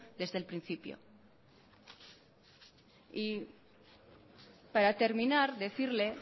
desde el principio y para terminar decirle